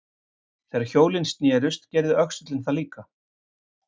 Þegar hjólin snerust gerði öxullinn það líka.